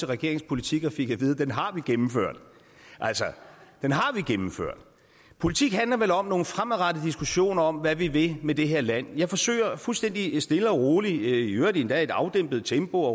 regeringens politik og fik at vide at den har man gennemført den har vi gennemført politik handler vel om nogle fremadrettede diskussioner af hvad vi vil med det her land jeg forsøger fuldstændig stille og roligt i øvrigt endda i et afdæmpet tempo